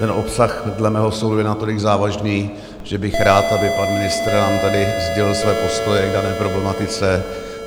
Ten obsah dle mého soudu je natolik závažný, že bych rád, aby pan ministr nám tady sdělil své postoje k dané problematice.